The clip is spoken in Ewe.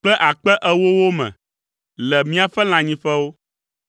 kple akpe ewowo me le míaƒe lãnyiƒewo.